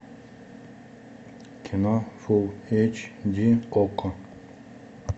кино фулл эйч ди окко